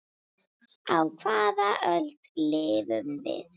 Á hvaða öld lifum við?